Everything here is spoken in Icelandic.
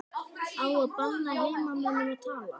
Á að banna heimamönnum að tala?